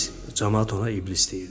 Camaat ona iblis deyirdi.